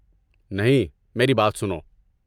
نہیں، میری بات سنو۔